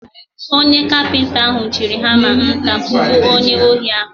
Onye kapinta ahụ jiri hama nta kugbuo onye ohi ahụ.